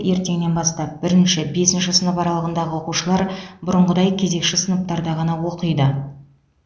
ертеңнен бастап бірінші бесінші сынып аралығындағы оқушылар бұрынғыдай кезекші сыныптарда ғана оқиды